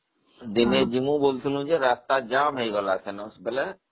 ଦିନେ ଯିବି ବୋଲି କହୁଥିଲି ଯେ ରାସ୍ତା ଜାମ ହେଇଗଲା ସେଦିନ